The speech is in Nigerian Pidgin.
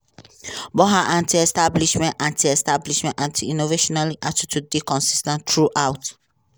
but her anti-establishment anti-establishment anti-interventionist attitudes dey consis ten t throughout.